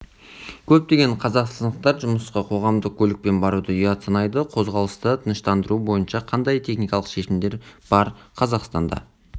көптеген қазақстандықтар жұмысқа қоғамдық көлікпен баруды ұят санайды қозғалысты тыныштандыру бойынша қандай техникалық шешімдер бар қазақстанда